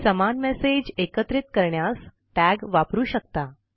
समान मेसेज एकत्रित करण्यास टॅग वापरू शकता